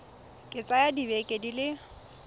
ka tsaya dibeke di le